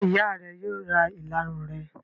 Ṣé ìyá rẹ yóò ra ìlarun rẹ?